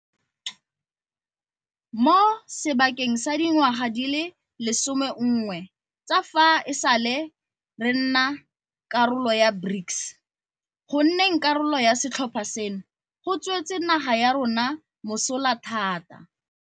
Mo sebakeng sa dingwaga di le 11 tsa fa e sale re nna karolo ya BRICS, go nneng karolo ya setlhopha seno go tswetse naga ya rona mosola thata.